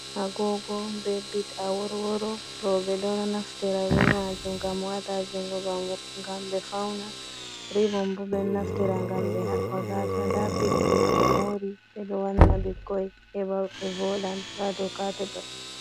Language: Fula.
Agogo be bit a worworo roɓe ɗo naftira be majum ngam wata jungo ngam ɓe fauna, ribom roɓe naftira ngam ɓe haɓɓa gasa. Nda bit bo to ɓe mori ɓe ɗo wanna bikkoi heɓa ɓe vodan ha do kapet.